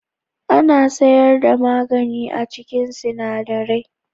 Ana sayar da magani a cikin sinadarai.